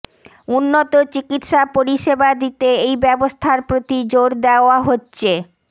উন্নত চিকিৎসা পরিষেবা দিতে এই ব্যবস্থার প্রতি জোর দেওয়া হচ্ছে